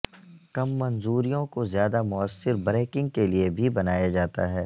کم منظوریوں کو زیادہ موثر بریکنگ کے لئے بھی بنایا جاتا ہے